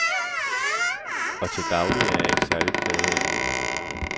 Og til daglig er jeg ikke særlig plaget af lyden.